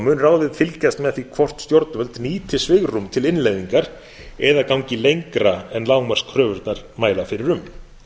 mun ráðið fylgjast með því hvort stjórnvöld nýti svigrúm til innleiðingar eða gangi lengra en lágmarkskröfurnar mæla fyrir um